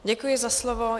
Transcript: Děkuji za slovo.